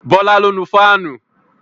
Bọlá ló nu fáànù